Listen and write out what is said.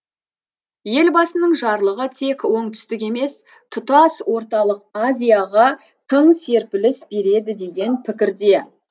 елбасының жарлығы тек оңтүстік емес тұтас орталық азияға тың серпіліс береді деген пікірде